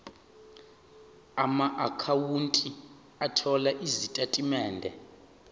amaakhawunti othola izitatimende